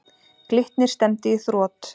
Glitnir stefndi í þrot.